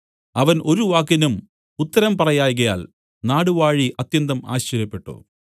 അവൻ ഒരു വാക്കിനും ഉത്തരം പറയായ്കയാൽ നാടുവാഴി അത്യന്തം ആശ്ചര്യപ്പെട്ടു